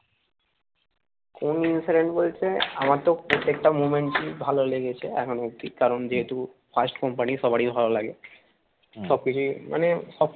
কোন incident বলতে আমার তো প্রত্যেকটা moment এই ভালো লেগেছে এখনো অব্দি কারণ যেহেতু first company সবারই ভালো লাগে সবকিছুই মানে সব